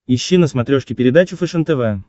ищи на смотрешке передачу фэшен тв